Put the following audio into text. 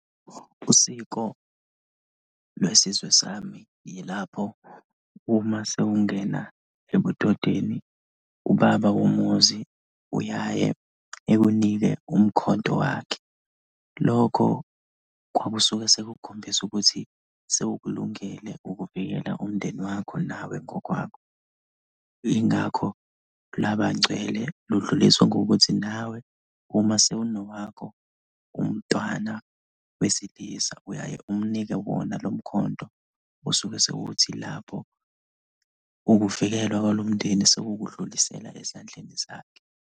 Usiko lwesizwe sami yilapho uma sewungena ebudodeni, ubaba womuzi uyaye ekunike umkhonto wakhe. Lokho kwakusuke sekukukhombisa ukuthi sewukulungele ukuvikela umndeni wakho nawe ngokwakho, yingakho laba ngcwele, ludluliswa kuwe ukuthi nawe uma sewunowakho umntwana wesilisa, uyaye umnike wona lo mkhonto osuke sewuthi lapho ukuvikelwa kwalomndeni sewukudlulisela ezandleni zakhe.